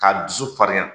K'a dusu farinya